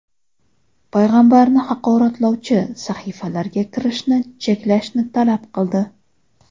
payg‘ambarni haqoratlovchi sahifalarga kirishni cheklashni talab qildi.